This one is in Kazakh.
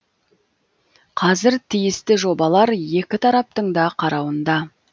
қазір тиісті жобалар екі тараптың да қарауында